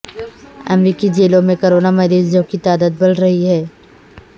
امریکی جیلوں میں کرونا مریضوں کی تعداد بڑھ رہی ہے